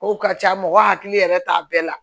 O ka ca mɔgɔ hakili yɛrɛ t'a bɛɛ la